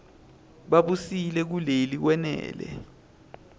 babusile kuleli kwenele